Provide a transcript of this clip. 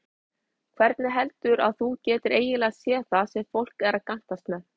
Hvernig heldurðu að þú getir eiginlega séð það sem fólk er að gantast með?